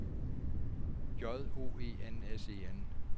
J O E N S E N